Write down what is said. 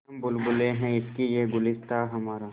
हम बुलबुलें हैं इसकी यह गुलसिताँ हमारा